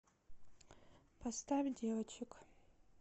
поставь девочек